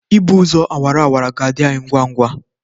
Ịgba ụzọ awara awara ga-adị anyị ngwa ngwa.